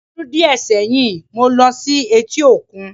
Ọdún díẹ̀ sẹ́yìn, mo ló sí etí òkun